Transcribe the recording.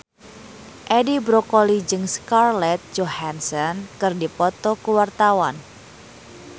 Edi Brokoli jeung Scarlett Johansson keur dipoto ku wartawan